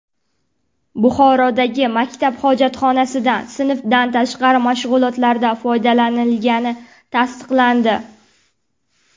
Buxorodagi maktab hojatxonasidan sinfdan tashqari mashg‘ulotlarda foydalanilgani tasdiqlandi.